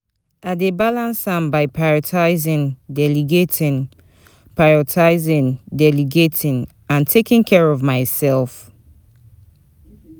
I dey balance am by prioritizing, delegating prioritizing, delegating and taking care of myself.